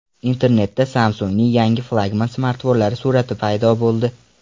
Internetda Samsung‘ning yangi flagman smartfonlari surati paydo bo‘ldi.